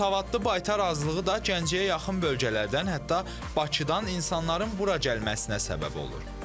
Savadlı baytar azlığı da Gəncəyə yaxın bölgələrdən, hətta Bakıdan insanların bura gəlməsinə səbəb olur.